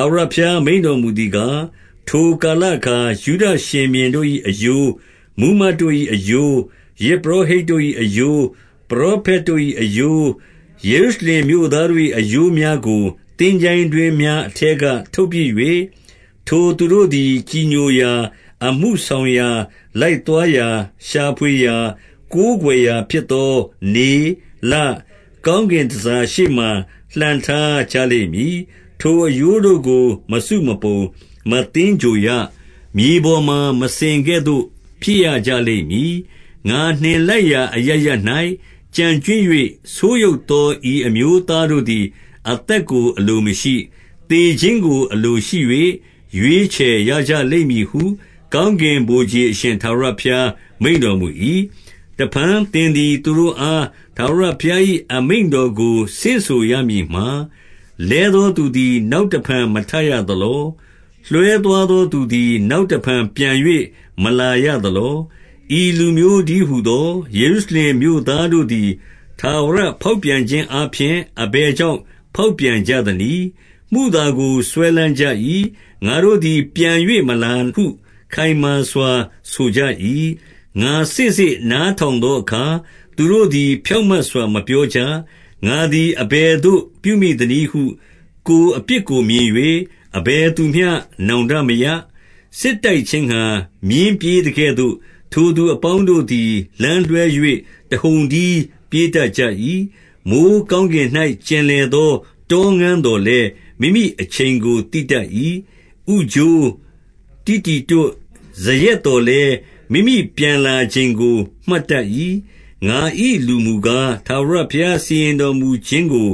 ာဝရဘုရားမိန့်တော်မူသည်ကား၊ ထိုကာလအခါ ယုဒ ရှင်ဘုရင် တို့၏ အရိုး၊ မှူးမတ်တို့၏အရိုး၊ ယဇ်ပုရောဟိတ်တို့၏အရိုး၊ ပရောဖက်တို့၏အရိုး၊ ယေရုရှလင်မြို့သားတို့၏ အရိုးများကို သင်္ချိုင်း တွင်းများ အထဲကထုတ်ပစ်၍၊ 2 ထိုသူတို့သည် ကြည်ညိုရာ၊ အမှုဆောင်ရာ၊ လိုက်သွားရာ၊ ရှာဖွေရာ၊ ကိုးကွယ်ရာဖြစ်သော နေ၊ လ၊ ကောင်းကင်တန်ဆာရှေ့မှာ လှန်ထားကြလိမ့်မည်။ ထိုအရိုးတို့ကို မစုမပုံ၊ မသင်္ဂြိုဟ်ရ။ မြေပေါ်မှာ မစင်ကဲ့သို့ ဖြစ်ရကြလိမ့်မည်။ 3 ငါနှင်လိုက်ရာအရပ်ရပ်၌ ကျန်ကြွင်း၍၊ ဆိုးယုတ်သော ဤအမျိုးသားတို့သည် အသက်ကို အလိုမရှိ။ သေခြင်းကို အလိုရှိ၍ ရွေးချယ်ရကြလိမ့်မည်ဟု၊ ကောင်းကင်ဗိုလ်ခြေအရှင် ထာဝရဘုရား မိန့်တော်မူ၏။ 4 တဖန် သင်သည် သူတို့အား ထာဝရဘုရား၏ အမိန့်တော်ကို ဆင့်ဆိုရမည်မှာ၊ လဲသောသူသည် နောက်တဖန် မထရသလော။ လွဲသွားသောသူသည် နောက်တဖန် ပြန်၍ မလာရသလော။ 5 ဤလူမျိုးတည်းဟူသော ယေရုရှလင်မြို့သားတို့သည် ထာဝရဖောက်ပြန်ခြင်းအားဖြင့် အဘယ်ကြောင့် ဖောက်ပြန်ကြသနည်း။ မုသာကို စွဲလမ်းကြ၏။ ငါတို့သည် ပြန်၍မလာဟု ခိုင်မာစွာ ဆိုကြ၏။ 6 ငါ စေ့စေ့နားထောင်သောအခါ၊ သူတို့သည် ဖြောင့်မတ်စွာ မပြောကြ။ ငါသည် အဘယ်သို့ ပြုမိ သနည်းဟု ကိုယ်အပြစ်ကို မြင်၍ အဘယ်သူမျှ နောင်တမရ။ စစ်တိုက်ခြင်းငှာ မြင်းပြေးသကဲ့သို့၊ ထိုသူအပေါင်းတို့သည် လမ်းလွှဲ၍ တဟုန်တည်းပြေးတတ်ကြ၏။ 7 မိုဃ်းကောင်းကင်၌ ကျင်လည်သော တောငန်းသော်လည်း၊ မိမိအချိန်ကို သိတတ်၏။ ဥချိုး၊ တီတီတွတ်၊ ဇရက်သော်လည်း၊ မိမိပြန်လာချိန်ကို မှတ်တတ်၏။ ငါ၏လူမူကား၊ ထာဝရဘုရားစီရင်တော်မူခြင်း ကို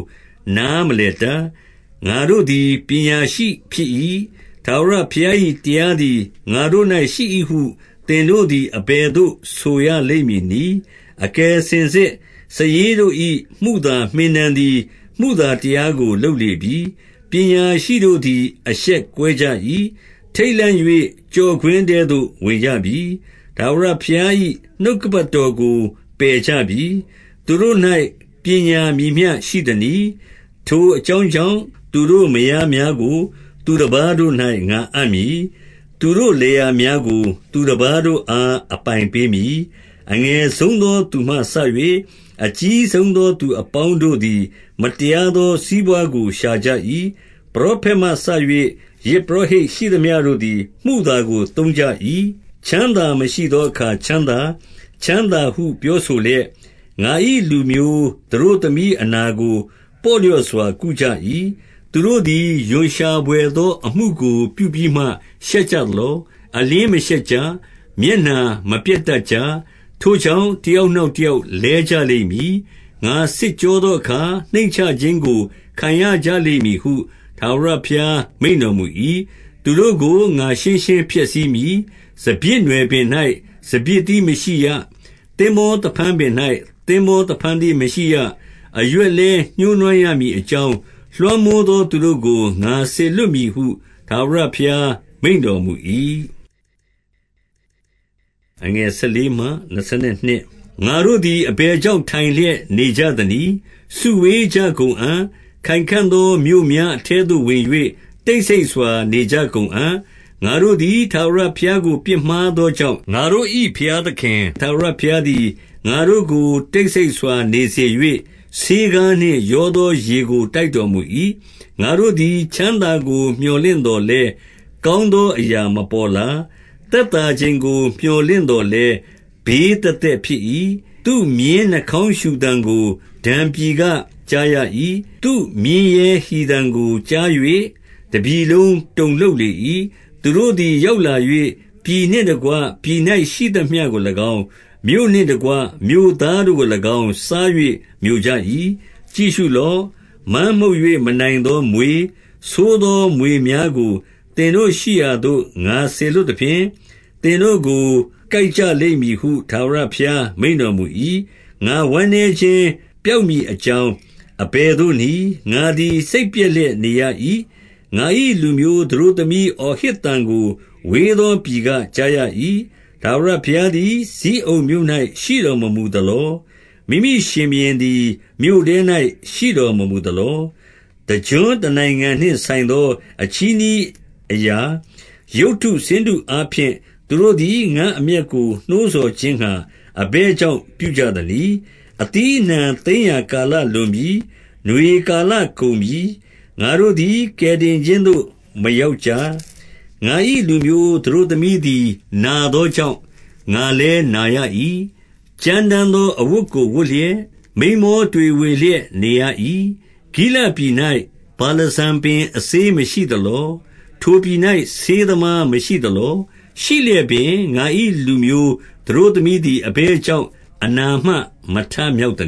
နားမလည်တတ်။ 8 ငါတို့သည် ပညာရှိဖြစ်၏။ ထာဝရဘုရား၏ တရားသည် ငါတို့၌ရှိ၏ဟု သင်တို့သည် အဘယ်သို့ ဆိုရလိမ့်မည်နည်း။ အကယ်စင်စစ် စာရေးတို့၏ မုသာမှင်တံသည် မုသာတရားကို လုပ်လေပြီ။ 9 ပညာရှိတို့သည် အရှက်ကွဲကြ၏။ ထိတ်လန့်၍ ကျော့ကွင်းထဲသို့ ဝင်ကြပြီ။ ထာဝရဘုရား၏ နှုတ်ကပတ်တော်ကို ပယ်ကြပြီ။ သူတို့၌ ပညာမည်မျှရှိသနည်း။ 10 ထိုအကြောင်းကြောင့်၊ သူတို့မယားများကို သူတပါးတို့၌ ငါအပ်မည်။ သူတို့လယ်ယာများကို သူတပါးတို့အား အပိုင်ပေးမည်။ အငယ်ဆုံးသောသူမှစ၍ အကြီးဆုံးသောသူအပေါင်းတို့သည် မတရားသော စီးပွားကို ရှာကြ၏။ ပရောဖက်မှစ၍ ယဇ်ပုရောဟိတ်ရှိသမျှတို့သည် မုသာကို သုံးကြ၏။ 11 ချမ်းသာမရှိသောအခါ ချမ်းသာ၊ ချမ်းသာဟု ပြောဆိုလျက်၊ ငါ၏လူမျိုး သတို့သမီးအနာကို ပေါ့လျော့စွာကုကြ၏။ 12 သူတို့သည် ရွံရှာ ဘွယ်သောအမှုကို ပြုပြီးမှ ရှက်ကြ သလော။ အလျှင်းမရှက်ကြ။ မျက်နှာမပျက်တတ်ကြ။ ထိုကြောင့်၊ တယောက်နောက် တယောက်လဲကြလိမ့်မည်။ ငါစစ်ကြောသောအခါ နှိမ့်ချခြင်းကို ခံရကြလိမ့်မည်ဟု ထာဝရဘုရား မိန့်တော်မူ၏။ 13 သူတို့ကို ငါရှင်းရှင်းဖျက်ဆီးမည်။ စပျစ်နွယ်ပင် ၌ စပျစ်သီးမရှိရ။ သင်္ဘောသဖန်းပင်၌ သင်္ဘောသဖန်း သီးမရှိရ။ အရွက်လည်း ညှိုးနွမ်းရမည်အကြောင်း၊ လွှမ်းမိုးသောသူတို့ကို ငါစေလွှတ်မည်ဟု ထာဝရဘုရား မိန့်တော်မူ၏။ 14 ငါတို့သည် အဘယ်ကြောင့် ထိုင်လျက်နေကြ သနည်း။ စုဝေးကြကုန်အံ့၊ ခိုင်ခံ့သော မြို့များအထဲသို့ ဝင်၍ တိတ်ဆိတ်စွာ နေကြကုန်အံ့။ ငါတို့သည် ထာဝရ ဘုရားကို ပြစ်မှားသောကြောင့်၊ ငါတို့၏ ဘုရားသခင် ထာဝရဘုရားသည် ငါတို့ကို တိတ်ဆိတ်စွာနေစေ၍၊ ဆေးခါးနှင့် ရောသော ရေကိုတိုက်တော်မူ၏။ ငါတို့သည် ချမ်းသာရေကို တိုက်တော်မူ၏။ 15 ငါတို့သည် ချမ်းသာကိုမြော်လင့်သော်လည်း၊ ကောင်းသောအရာ မပေါ်လာ။ သက်သာချိန်ကို မြော်လင့်သော်လည်း၊ ဘေးသက်သက်ဖြစ်၏။ 16 သူ့မြင်းနှာခေါင်းရှုသံကို ဒန်ပြည်က ကြားရ၏။ သူ့မြင်းရဲဟီသံကိုကြား၍ တပြည်လုံးတုန်လှုပ်လေ၏။ သူတို့သည် ရောက်လာ၍၊ ပြည်နှင့် တကွပြည်၌ရှိသမျှကို၎င်း၊ မြို့နှင့်တကွ မြို့သားတို့ကို၎င်း စား၍မျိုကြ၏။ 17 ကြည့်ရှုလော့။ မန်းမှုတ်၍ မနိုင်သောမြွေ၊ ဆိုးသောမြွေများကို သင်တို့ရှိရာသို့ ငါစေလွှတ်သဖြင့်၊ သင်တို့ကို ကိုက်ကြလိမ့်မည်ဟု ထာဝရဘုရား မိန့်တော် မူ၏။ 18 ငါဝမ်းနည်းခြင်း ပျောက်မည်အကြောင်း အဘယ်သို့နည်း။ ငါသည် စိတ်ပျက်လျက်နေရ၏။ 19 ငါ၏ လူမျိုးသတို့သမီးအော်ဟစ်သံကို ဝေးသော ပြည်က ကြားရ၏။ ထာဝရဘုရားသည် ဇိအုန်မြို့၌ ရှိတော်မမူသလော။ မိမိရှင်ဘုရင်သည် မြို့ထဲ၌ ရှိတော် မမူသလော။ 20 အသီးအနှံ သိမ်းရာကာလလွန်ပြီ။ နွေကာလ ကုန်ပြီ။ ငါတို့သည် ကယ်တင်ခြင်းသို့ မရောက်ကြ။ 21 ငါ၏လူမျိုးသတို့သမီးသည် နာသောကြောင့်၊ ငါလည်းနာရ၏။ ကြမ်းတမ်းသော အဝတ်ကို ဝတ်လျက်၊ မိန်းမောတွေဝေလျက်နေရ၏။ 22 ဂိလဒ်ပြည်၌ ဗာလဇံပင် အစေးမရှိသလော။ ထိုပြည်၌ ဆေးသမားမရှိသလော။ ရှိလျက်ပင် ငါ၏လူမျိုးသတို့သမီးသည် အဘယ်ကြောင့် အနာမှ ထမြောက်သ